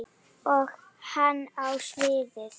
Og hann á sviðið.